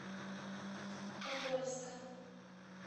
подольска